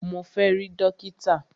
Mo fẹ́ rí dókítà!